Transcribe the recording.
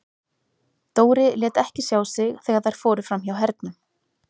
Dóri lét ekki sjá sig þegar þær fóru fram hjá Hernum.